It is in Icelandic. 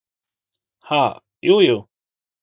Ha, jú, jú.